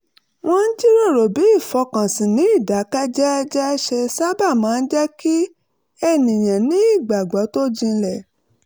wọ́n jíròrò bí ìfọkànsìn ní ìdákẹ́jẹ́ẹ́ ṣe sábà máa ń jẹ́ kí ènìyàn ní ìgbàgbọ́ tó jinlẹ̀